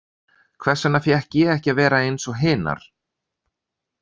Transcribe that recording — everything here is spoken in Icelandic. Hvers vegna fékk ég ekki að vera eins og hinar?